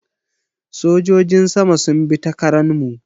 Sojojin sama sun bi ta Karan mu